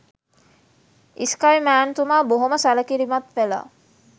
ඉස්කයි මෑන් තුමා බොහොම සැලකිලිමත් වෙලා